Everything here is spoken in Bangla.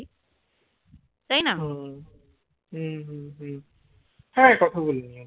হম হম হম হ্যাঁ কথা বলে নিও